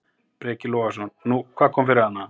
Breki Logason: Nú, hvað kom fyrir hana?